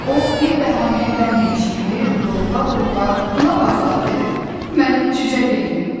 O bir bəhanəyə bənzəmiş kimi lovğa-lovğa buna baxa dedi: Mənim cücə bembim.